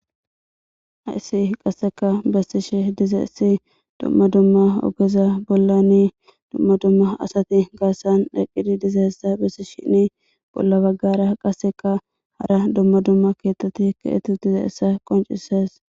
hayssi qasseka bessishe diza essi dumma dumma ogeza bollanni dumma dumma asati gaassan dheqqidi dizeessa bessi shini bolla baggara qaseka hara dumma dumma keettatti kaetti diza issa qoncises